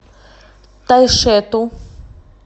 тайшету